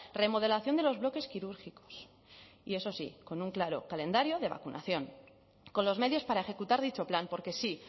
remodelación de los bloques quirúrgicos y eso sí con un claro calendario de vacunación con los medios para ejecutar dicho plan porque sí